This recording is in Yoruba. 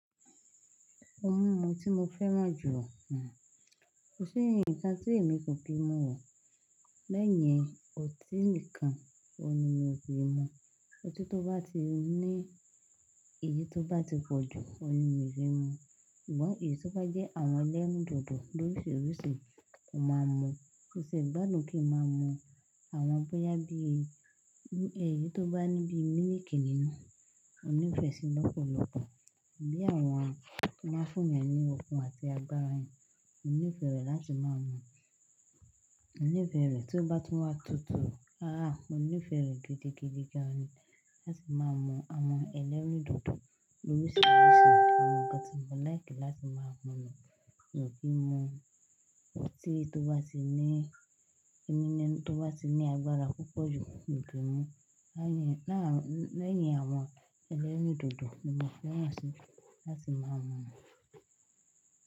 Ó mú ohun tí mo fẹ́ràn jù. Kò sí ǹkan tí èmi kò kì mu ọ. Lẹ́yìn ọtí nìkan, òun ni mi ò kì mu. Ọtí tó bá ti ní èyí tó bá ti pọ̀ jù, òun ni mi kì mu. Ṣùgbọ́n èyí tó bá jẹ́ àwọn ẹlẹ́rìndòdò lóṣìròṣì, mo máa mu. Ó ṣe gbádùn kí n máa mu àwọn bóyá bí èyí tó bá ní bí mílìkì nínú, mònífẹ́ṣí lọ́pọ̀lọ́pọ̀ bí àwọn tó máa ń fún ẹ ní ọkùn àti agbára yẹn. Mo ní ìfẹ́ rẹ̀ láti máa mu. Mo ní ìfẹ́ rẹ̀ tó bá tún wá tutù. A a ó ní ìfẹ́ rẹ̀ gidigidi gan láti máa mu àwọn ẹlẹ́rìndòdò lórìsiriṣì. Àwọn ǹkan tí mo láìkì láti máa mu ni kò kí n mu. Ọtí tó bá ti ní ẹni tí ó bá ti ní agbára púpọ̀ jù ni kí n mu. Lẹ́yìn àwọn ẹlẹ́rìndòdò ni mo fẹ́ràn sí láti máa mu.